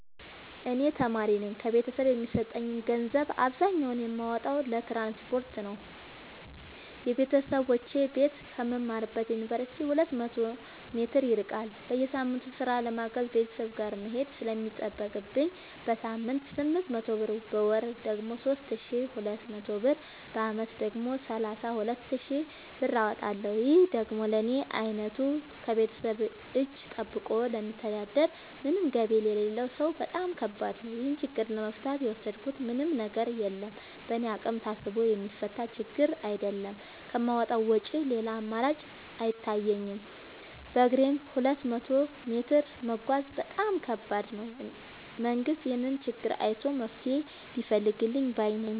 እኔ ተማሪነኝ ከቤተሰብ የሚሰጠኝን ገንዘብ አብዛኛውን የማወጣው ለትራንስፖርት ነው የበተሰቦቼ ቤት ከምማርበት ዮንቨርሲቲ ሁለት መቶ ሜትር ይርቃል። በየሳምቱ ስራ ለማገዝ ቤተሰብ ጋር መሄድ ስለሚጠቅብኝ በሳምንት ስምንት መቶ ብር በወር ደግሞ ሶስት ሺ ሁለት መቶ ብር በአመት ደግሞ ሰላሳ ሁለት ሺ ብር አወጣለሁ ይህ ደግሞ ለኔ አይነቱ ከቤተሰብ እጂ ጠብቆ ለሚተዳደር ምንም ገቢ ለሌለው ሰው በጣም ከባድ ነው። ይህን ችግር ለመፍታት የወሰድኩት ምንም ነገር የለም በእኔ አቅም ታስቦ የሚፈታ ችግርም አይደለም ከማውጣት ውጪ ሌላ አማራጭ አይታየኝም በግሬም ሁለት መቶ ሜትር መጓዝ በጣም ከባድ ነው። መንግስት ይህንን ችግር አይቶ መፍትሔ ቢፈልግልን ባይነኝ።